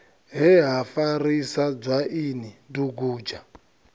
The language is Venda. he ha farisa dzwaini dugudzha